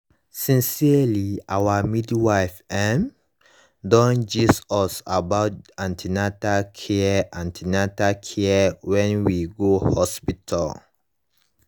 sincerely our midwife um don gist us about an ten atal care an ten atal care when we go hospital